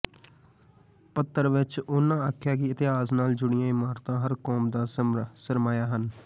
ਪੱਤਰ ਵਿਚ ਉਨ੍ਹਾਂ ਆਖਿਆ ਕਿ ਇਤਿਹਾਸ ਨਾਲ ਜੁੜੀਆਂ ਇਮਾਰਤਾਂ ਹਰ ਕੌਮ ਦਾ ਸਰਮਾਇਆ ਹਨ